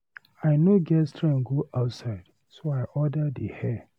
I no get strength to go outside so I order the hair.